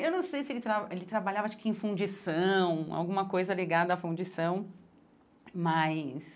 Eu não sei se ele tra ele trabalhava acho que em fundição, alguma coisa ligada à fundição, mas...